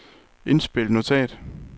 indspil notat